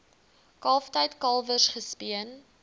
kalftyd kalwers gespeen